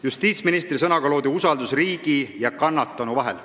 Justiitsministri sõnaga loodi usaldus riigi ja kannatanu vahel.